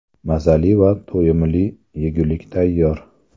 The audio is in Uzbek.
Mazali va to‘yimli yegulik tayyor.